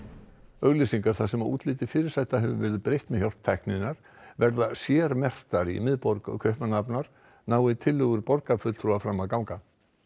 auglýsingar þar sem útliti fyrirsæta hefur verið breytt með hjálp tækninnar verða sérmerktar í miðborg Kaupmannahafnar nái tillögur borgarfulltrúa fram að ganga